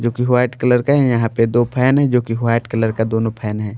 जो कि white colour का है यहां पे दो फैन है जो कि वाइट कलर का दोनों फैन है।